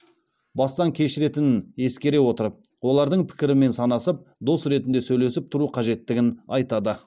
бастан кешіретінін ескере отырып олардың пікірімен санасып дос ретінде сөйлесіп тұру қажеттігін айтады